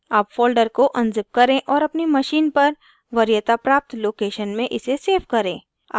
* अब folder को unzip करें और अपनी machine पर वरीयता प्राप्त location में इसे सेव करें